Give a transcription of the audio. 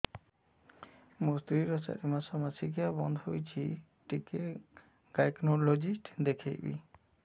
ମୋ ସ୍ତ୍ରୀ ର ଚାରି ମାସ ମାସିକିଆ ବନ୍ଦ ହେଇଛି ଟିକେ ଗାଇନେକୋଲୋଜିଷ୍ଟ ଦେଖେଇବି